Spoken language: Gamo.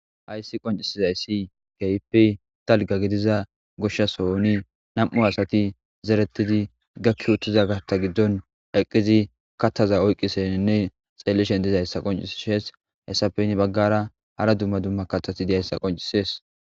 hayssi qoncisizayssi geypi talga gidiza goshshasohoni nam7u asati zeretidi gakki uttiza garta giddon eqqizi kattaza oyqqiseninne xellishen dizahyssa qoncishees hessapeyni baggara hara dumma dumma kathasi dehayssa qoncisees